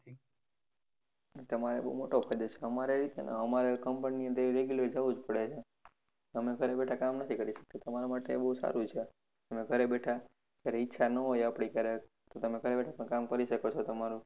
તમારે એ બહુ મોટો ફાયદો છેન અમારે company ની અંદર regular જવું જ પડે છે અમે ઘરે બેઠા કામ નથી કરી શકતા તમારે માટે બહુ સારું છે તમે ઘરે બેઠા જયારે ઈચ્છા ના હોય તમારી તો તમે ઘરે બેઠા પણ કામ કરી શકો છો તમારું